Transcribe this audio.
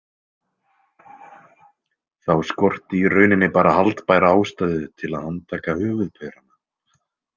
Þá skorti í rauninni bara haldbæra ástæðu til að handtaka höfuðpaurana.